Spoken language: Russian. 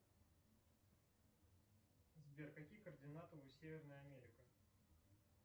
сбер какие координаты у северная америка